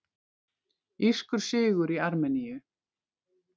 Írskur sigur í Armeníu